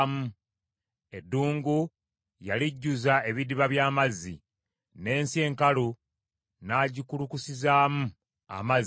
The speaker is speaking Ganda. Eddungu yalijjuza ebidiba by’amazzi, n’ensi enkalu n’agikulukusizaamu amazzi,